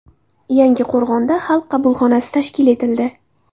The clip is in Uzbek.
Yangiqo‘rg‘onda Xalq qabulxonasi tashkil etildi.